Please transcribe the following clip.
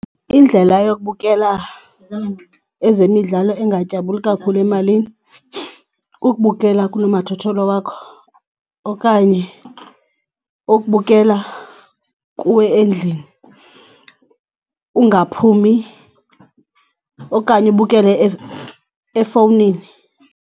Indlela yokubukela ezemidlalo engatyabuli kakhulu emalini kukubukela kunomathotholo wakho okanye ukubukela kuwe endlini ungaphumi okanye ubukele efowunini.